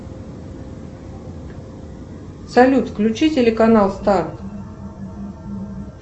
салют включи телеканал старт